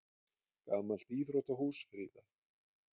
Gamalt íþróttahús friðað